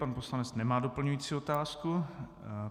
Pan poslanec nemá doplňující otázku.